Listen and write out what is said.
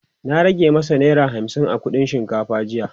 ta rage mashi naira hamsin a kuɗin shinkafa jiya